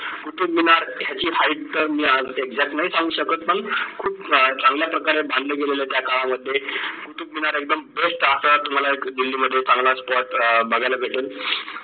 कुतुब मिनारची ह्याची height अं मी exact नाय सांगू शकत पण खूप चांगला प्रकारे बांधले गेलेल आहे त्या काळामध्ये कुतुब मिनार एकदम best असा तुम्हाला दिल्ली मध्ये एक चांगला spot अं बघायला भेटल